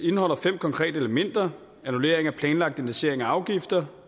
indeholder fem konkrete elementer annullering af planlagt indeksering af afgifter